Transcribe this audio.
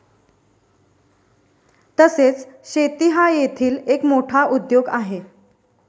तसेच शेती हा येथील एक मोठा उद्योग आहे.